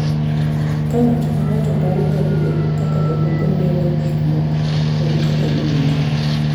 Ka ng’ato ka ng’ato paro gadier kaka jomoko neno gik moko kod kaka giwinjo.